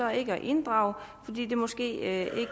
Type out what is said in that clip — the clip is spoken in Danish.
at inddrage fordi det måske ikke